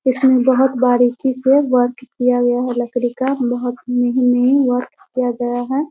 इसमें बहुत बारीकी से वर्क किया हुआ है लकड़ी का बहुत नये-नये वर्क किया हुआ है ।